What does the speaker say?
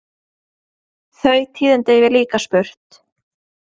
Þau tíðindi hef ég líka spurt.